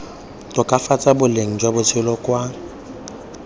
tokafatsa boleng jwa bophelo kwa